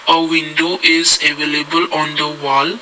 a window is available on the wall.